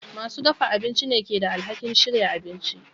Masu dafa abinci ne ke da alhakin shirya abincin.